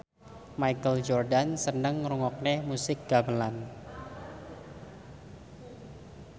Michael Jordan seneng ngrungokne musik gamelan